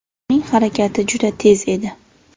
Uning harakati juda tez edi.